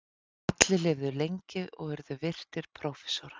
Allir lifðu lengi og urðu virtir prófessorar.